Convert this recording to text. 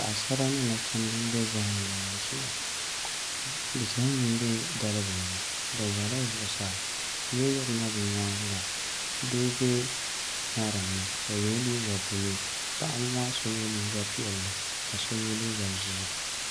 Paɣasara ni Nachimbi n bɛ zaham gbahabu shee zaham bɛ dalibili ni bi ʒɛla zuɣusaa yili yirina bi nyaanga doo bɛ ŋarim ni o yɛla liiga buluu paɣaba maa so yɛ liiga piɛlli ka so yɛ liiga ʒiɛ